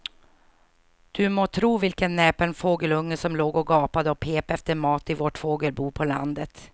Du må tro vilken näpen fågelunge som låg och gapade och pep efter mat i vårt fågelbo på landet.